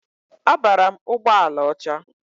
Abara m ụgbọala ọcha.